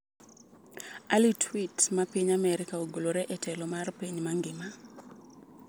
AliTwitt ma piny Amerka ogolore e telo mar piny mangima.